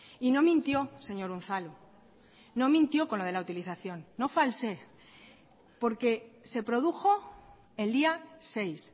y no mintió señor unzalu no mintió con lo de la utilización no falsee porque se produjo el día seis